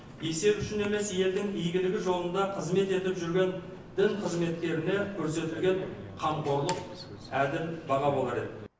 есеп үшін емес елдің игілігі жолында қызмет етіп жүрген дін қызметкеріне көрсетілген қамқорлық әділ баға болар еді